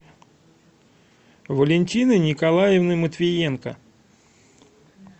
валентины николаевны матвиенко